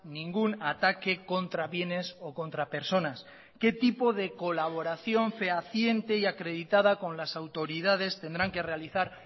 ningún ataque contra bienes o contra personas qué tipo de colaboración fehaciente y acreditada con las autoridades tendrán que realizar